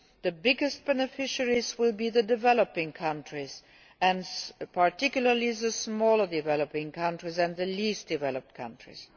The biggest beneficiaries will be the developing countries and, particularly, smaller developing countries and the least developed countries.